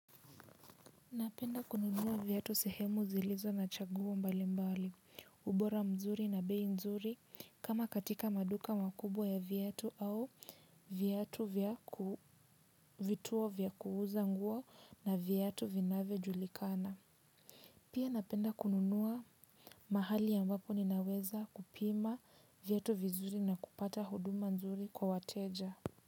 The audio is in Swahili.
Napenda kununuwa viatu sehemu zilizo na chaguho mbali mbali, ubora mzuri na bei nzuri kama katika maduka makubwa ya viatu au viatu vya ku vituwo vya kuuza nguwa na viatu vinavyo julikana. Pia napenda kununuwa mahali ambapo ninaweza kupima viatu vizuri na kupata huduma nzuri kwa wateja.